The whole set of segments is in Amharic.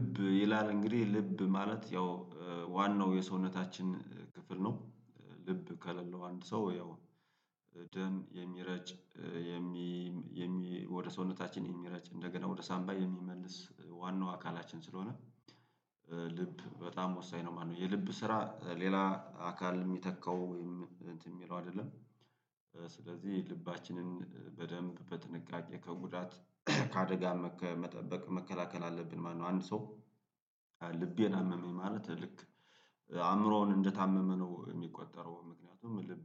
ልብ ይላል እንግዲህ ልብ ማለት ያው ዋናው የሰውነታችን ክፍል ነው። ልብ ከሌለው አንድ ሰው ያው ደም የሚረጭ። የሚ ወደ ሰውነታችን የሚረጭ እንደገና ወደ ሳምባ የሚመልስ ዋናው አካላችን ስለሆነ ልብ በጣም ወሳኝ ነው። ማነው የልብ ስራ ሌላ አካል የሚተካው እንትን ሚለው አይደለም? ስለዚህ ልባችንን በደንብ በጥንቃቄ ከጉዳት ከአደጋ ከመጠበቅ መከላከል አለብን ማለነው። አንድ ሰው ልቤን አመመኝ ማለት ልክ አእምሮውን እንደታመመ ነው የሚቆጠረው። ምክንያቱም ልብ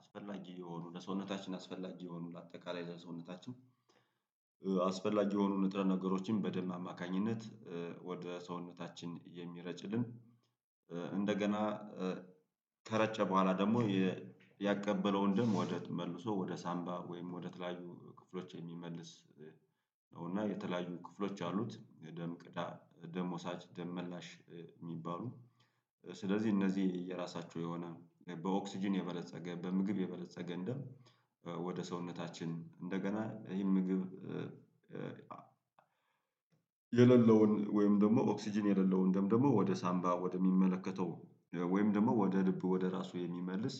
አስፈላጊ የሆኑ ለሰውነታችን አስፈላጊ የሆኑ ለአጠቃላይ ለሰውነታችን አስፈላጊ የሆኑ ንጥረ ነገሮችን በደም አማካኝነት ወደ ሰውነታችን የሚረጭልን። እንደገና ከረጨ በኋላ ደግሞ ያቀበለውን ደም ወደ መልሶ ወደ ሳምባ ወይም ወደ ተለያዩ ክፍሎች የሚመልስ ነው። እና የተለያዩ ክፍሎች አሉት ደም ቅዳ ደም ወሳጅ ደም መላሽ የሚባሉ። ስለዚህ እነዚህ የራሳቸው የሆነ በኦክስጅን የበለፀገ በምግብ የበለፀገ ደም ወደ ሰውነታችን እንደገና ይህን ምግብ የሌለውን ወይም ደግሞ ኦክስጅን የሌለውን ደም ደግሞ ወደ ሳምባ ወደ ሚመለከተው ወይም ደግሞ ወደ ልብ ወደ ራሱ የሚመልስ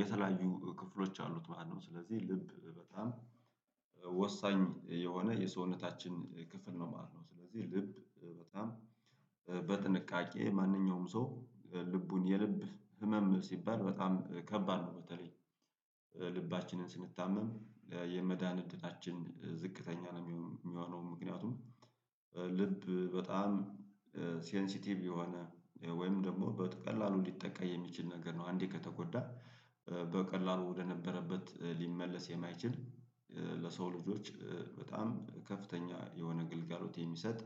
የተለያዩ ክፍሎች አሉት ማለት ነው። ስለዚህ ልብ በጣም ወሳኝ የሆነ የሰውነታችን ክፍል ነው ማለት ነው። ስለዚህ ልብ በጣም በጥንቃቄ ማንኛውም ሰው ልቡን የልብ ህመም ሲባል በጣም ከባድ ነው በተለይ ልባችንን ስንታመም የመዳን እድላችን ዝቅተኛ ነው ሚሆነው ምክንያቱም ልብ በጣም ሴንሲቲቭ የሆነ ወይም ደግሞ በቀላሉ ሊጠቃ የሚችል ነገር ነው። አንዴ ከተጎዳ በቀላሉ ወደነበረበት ሊመለስ የማይችል ለሰው ልጆች በጣም ከፍተኛ የሆነ ግልጋሎት የሚሰጥ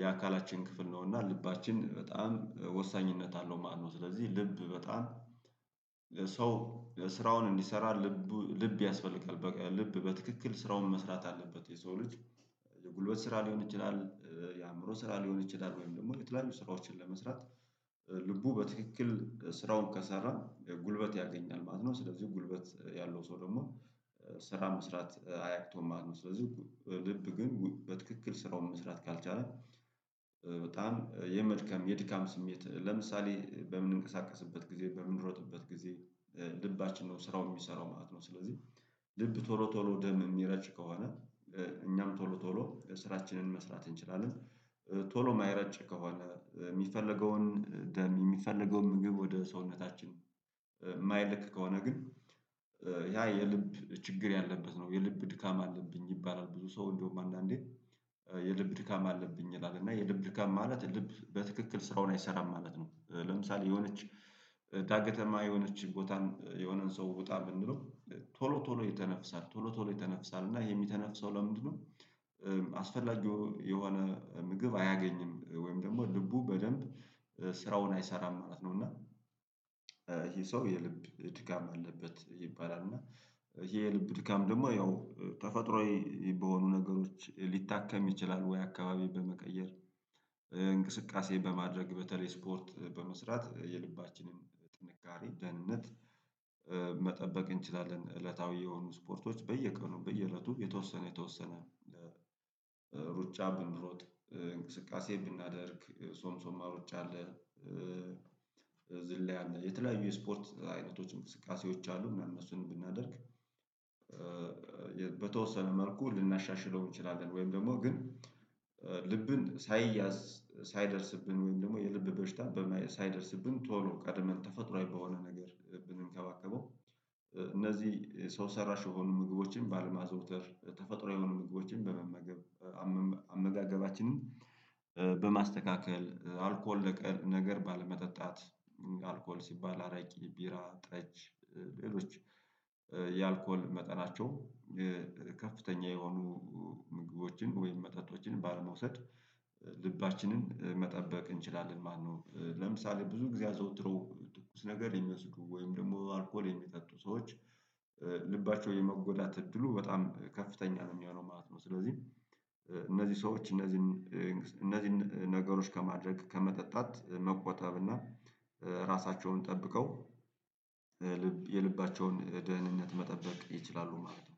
የአካላችን ክፍል ነው። እና ልባችን በጣም ወሳኝነት አለው ማለትነው። ስለዚህ ልብ በጣም ሰው ስራውን እንዲሰራ ልቡ ልብ ያስፈልጋል በቃ ልብ በትክክል ስራውን መስራት አለበት የሰው ልጅ የጉልበት ስራ ሊሆን ይችላል የአእምሮ ስራ ሊሆን ይችላል ወይም ደግሞ የተለያዩ ስራዎችን ለመስራት ልቡ በትክክል ስራውን ከሰራ ጉልበት ያገኛል ማለት ነው። ስለዚህ ጉልበት ያለው ሰው ደግሞ ስራ መስራት አያቅተውም ማለት ነው። ስለዚህ ልብ ግን በትክክል ስራውን መስራት ካልቻለ በጣም የመድከም የድካም ስሜት ለምሳሌ በምንንቀሳቀስበት ጊዜ በምንሮጥበት ጊዜ ልባችን ነው ስራው ሚሰራው ማለት ነው። ስለዚህ ልብ ቶሎ ቶሎ ደም እሚረጭ ከሆነ እኛም ቶሎ ቶሎ ስራችንን መስራት እንችላለን ቶሎ የማይረጭ ከሆነ ሚፈለገውን ደም የሚፈለገውን ምግብ ወደ ሰውነታችን ማይልክ ከሆነ ግን ያ የልብ ችግር ያለበት ነው። የልብ ድካም አለብኝ ይባላል ብዙ ሰው እንደውም አንዳንዴ የልብ ድካም አለብኝ ይላል እና የልብ ድካም ማለት ልብ በትክክል ስራውን አይሰራም ማለት ነው። ለምሳሌ የሆነች ዳገተማ የሆነች ቦታን የሆነን ሰው ውጣ ብንለው ቶሎ ቶሎ ይተነፍሳል ቶሎ ቶሎ ይተነፍሳል እና ይሄ የሚተነፍሰው ለምንድነው? አስፈላጊው የሆነ ምግብ አያገኝም ወይም ደግሞ ልቡ በደንብ ስራውን አይሰራም ማለት ነው። እና እሂ ሰው የልብ ድጋም አለበት ይባላል እና እሄ የልብ ድካም ደግሞ ያው ተፈጥሮአዬ በሆኑ ነገሮች ሊታከም ይችላል። ወይ አካባቢ በመቀየር እንቅስቃሴ በማድረግ በተለይ ስፖርት በመስራት የልባችንን ጥንካሬ ደህንነት መጠበቅ እንችላለን። እለታዊ የሆኑ ስፖርቶች በየቀኑ በየእለቱ የተወሰነ የተወሰነ ሩጫ ብንሮጥ እንቅስቃሴ ብናደርግ ሶምሶማ ሩጫ አለ። ዝላይ አለ የተለያዩ የስፖርት አይነቶችን እንቅስቃሴዎች አሉ ምናምን እነሱን ብናደርግ በተወሰነ መልኩ ልናሻሽለው እንችላለን። ወይም ደግሞ ግን ልብን ሳይያዝ ሳይደርስብን ወይም ደግሞ የልብ በሽታ ሳይደርስብን ቶሎ ቀድመን ተፈጥሮአዊ በሆነ ነገር ብንከባከበው። እነዚህ ሰው ሰራሽ የሆኑ ምግቦችን ባለማዘውተር ተፈጥሮአዊ የሆኑ ምግቦችን በመመገብ አመጋገባችንን በማስተካከል አልኮል ነገር ባለመጠጣት አልኮል ሲባል አረቂ ቢራ ጠጅ ሌሎች የአልኮል መጠናቸው ከፍተኛ የሆኑ ምግቦችን ወይም መጠጦችን ባለመውሰድ ልባችንን መጠበቅ እንችላለን ማለትነው። ለምሳሌ ብዙ ግዜ አዘውትረው ትኩስ ነገር የሚወስዱ ወይም ደግሞ አልኮል የሚጠጡ ሰዎች ልባቸው የመጎዳት እድሉ በጣም ከፍተኛ ነው የሚሆነው ማለት ነው። ስለዚህ እነዚህ ሰዎች እነዚህን እነዚህን ነገሮች ከማድረግ ከመጠጣት መቆጣብና ራሳቸውን ጠብቀው ልብ የልባቸውን ደህንነት መጠበቅ ይችላሉ። ማለት ነው።